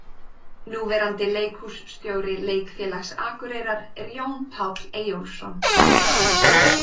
Núverandi leikhússtjóri Leikfélags Akureyrar er Jón Páll Eyjólfsson.